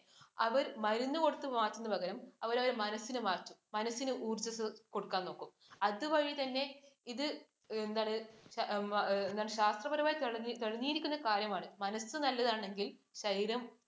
അവർ മരുന്ന് കൊടുത്തു മാറ്റുന്നതിന് പകരം അവര് അവരുടെ മനസിനെ മാറ്റും. മനസിന് ഊർജം കൊടുക്കാൻ നോക്കും. അതുവഴി തന്നെ ഇത് എന്താണ്, ശാസ്ത്രപരമായി തെളിഞ്ഞിരിക്കുന്ന കാര്യമാണ് മനസ്സ് നല്ലതാണെങ്കിൽ ശരീരം